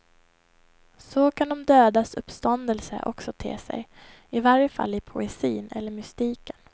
Så kan de dödas uppståndelse också te sig, i varje fall i poesin eller mystiken.